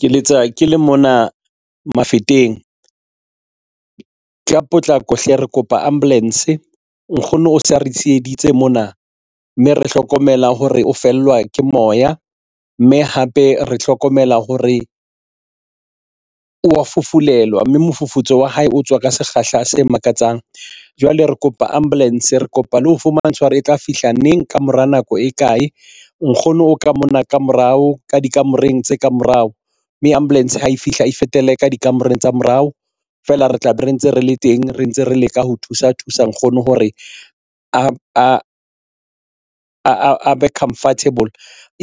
Ke letsa ke le mona mafeteng ka potlako hle. Re kopa ambulance nkgono o se a re tsheheditse mona mme re hlokomela hore o fellwa ke moya mme hape re hlokomela hore wa fufulelwa mme mofufutso wa hae o tswa ka sekgahla se makatsang. Jwale re kopa ambulance re kopa le ho fumana tshwaro e tla fihla neng ka mora nako e kae nkgono o ka mona ka morao ka dikamoreng tse ka morao mme ambulance ha e fihla e fetele ka dikamoreng tsa morao feela re tlabe re ntse re le teng re ntse re leka ho thusa nkgono hore a be comfortable